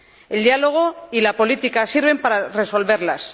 El diálogo y la política sirven para resolverlas